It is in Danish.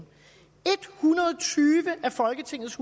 hundrede og tyve af folketingets